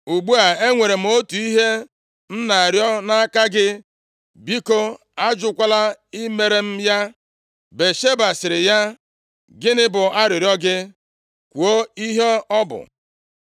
Ugbu a, enwere m otu ihe m na-arịọ nʼaka gị. Biko ajụkwala imere m ya.” Batsheba sịrị ya, “Gịnị bụ arịrịọ gị? Kwuo ihe ọ bụ.”